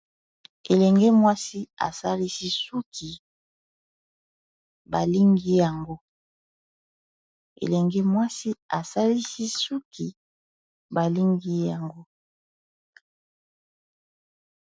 Elenge mwasi asalisi suki balingi yango.